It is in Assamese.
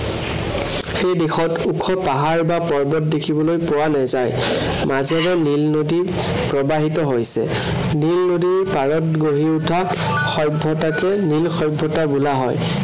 সেই দেশত ওখ পাহাৰ বা পৰ্বত দেখিবলৈ পোৱা নাযায়। মাজেৰে নীল নদী প্ৰবাহিত হৈছে। নীল নদীৰ পাৰত গঢ়ি উঠা সভ্য়তাকে নীল সভ্য়তা বোলা হয়।